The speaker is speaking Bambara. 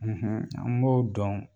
an m'o dɔn.